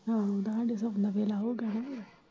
ਹਾਂ ਤੇ ਹਾਡੇ ਸੋਣ ਦਾ ਵੇਲਾ ਹੋਗਿਆ ਨਾ।